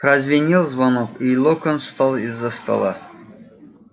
прозвенел звонок и локонс встал из-за стола